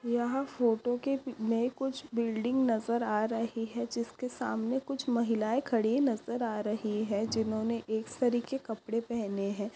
यहा फोटो के में कुछ बिल्डिंग नज़र आ रही है जिसके सामने कुछ महिलाए खड़ी नज़र आ रही है जिन्होने एक सरी के कपड़े पहने है।